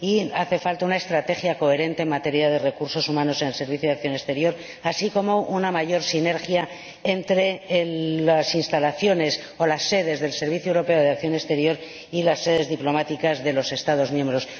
Y hace falta una estrategia coherente en materia de recursos humanos en el Servicio Europeo de Acción Exterior, así como una mayor sinergia entre las instalaciones o las sedes del Servicio Europeo de Acción Exterior y las sedes diplomáticas de los Estados miembros.